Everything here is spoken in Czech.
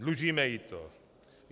Dlužíme jí to.